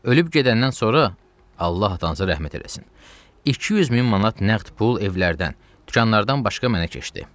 Ölüb gedəndən sonra, Allah atanıza rəhmət eləsin, 200 min manat nəqd pul evlərdən, dükanlardan başqa mənə keçdi.